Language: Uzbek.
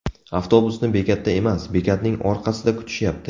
Avtobusni bekatda emas, bekatning orqasida kutishyapti.